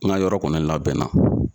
N ka yɔrɔ kɔni labɛnna.